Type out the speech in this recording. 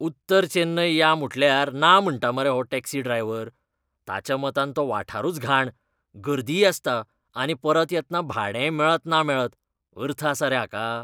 उत्तर चेन्नय या म्हुटल्यार ना म्हणटा मरो हो टॅक्सी ड्रायव्हर. ताच्या मतान तो वाठारूच घाण, गर्दीय आसता आनी परत येतना भाडेंय मेळत ना मेळत. अर्थ आसा रे हाका!